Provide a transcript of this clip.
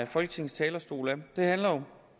folketingets talerstol det handler jo